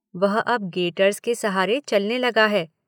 वह अब गेटर्स के सहारे चलने लगा है।